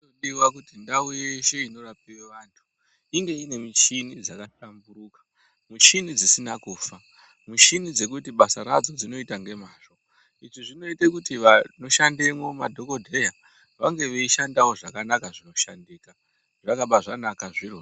Zvinodiwa kuti ndau yeshe inorapirwe antu inge iine michini yakahlamburuka ,michini dzisina kufa, michini dzekuti dzinoite basa radzo nemazvo. lzvi zvinoite kuti vanoshandemwo, madhokodheya vange veishandavo zvakanaka zvinoshandika zvakabaanaka zviro...